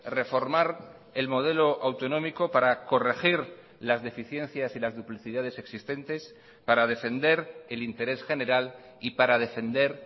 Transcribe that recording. reformar el modelo autonómico para corregir las deficiencias y las duplicidades existentes para defender el interés general y para defender